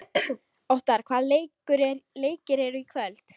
Óttarr, hvaða leikir eru í kvöld?